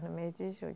No mês de julho.